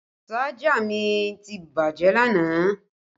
Ṣájà mi ti bàjẹ́ lánàá